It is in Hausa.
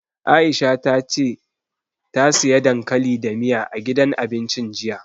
Aisha ta ce ta siya dankali da miya, a gidan abincin jiya.